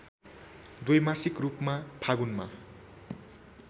द्वैमासिक रूपमा फागुनमा